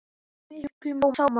Með miklum sóma.